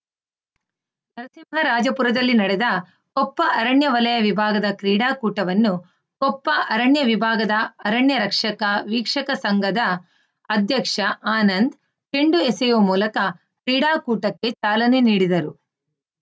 ನರಸಿಂಹರಾಜಪುರದಲ್ಲಿ ನಡೆದ ಕೊಪ್ಪ ಅರಣ್ಯ ವಲಯ ವಿಭಾಗದ ಕ್ರೀಡಾಕೂಟವನ್ನು ಕೊಪ್ಪ ಅರಣ್ಯ ವಿಭಾಗದ ಅರಣ್ಯ ರಕ್ಷಕ ವೀಕ್ಷಕ ಸಂಘದ ಅಧ್ಯಕ್ಷ ಆನಂದ್‌ ಚೆಂಡು ಎಸೆಯುವ ಮೂಲಕ ಕ್ರೀಡಾಕೂಟಕ್ಕೆ ಚಾಲನೆ ನೀಡಿದರು